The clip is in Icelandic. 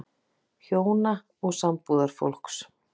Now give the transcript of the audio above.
HJÓNA OG SAMBÚÐARFÓLKS